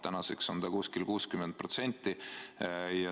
Tänaseks on see umbes 60%.